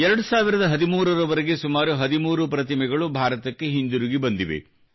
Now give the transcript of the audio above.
2013 ರವರೆಗೆ ಸುಮಾರು 13 ಪ್ರತಿಮೆಗಳು ಭಾರತಕ್ಕೆ ಹಿಂದಿರುಗಿ ಬಂದಿವೆ